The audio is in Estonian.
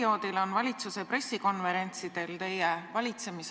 Ja see argument, et valitsus justkui tõstab hindasid kunstlikult, ei ole minu arvates väga asjakohane.